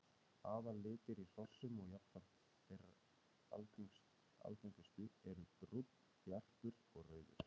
Aðallitir í hrossum og jafnframt þeir algengustu eru brúnn, jarpur og rauður.